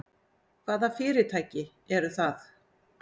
Hvaða fyrirtæki eru það?